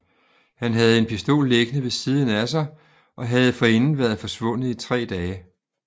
Han havde en pistol liggende ved siden af sig og havde forinden været forsvundet i 3 dage